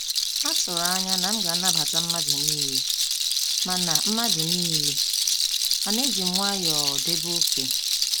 Ha tụrụ anya na m ga anabata mmadụ niile, mana mmadụ niile, mana ejim nwayọọ debe oké